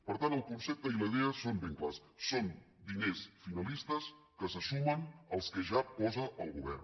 per tant el concepte i la idea són ben clars són diners finalistes que se sumen als que ja posa el govern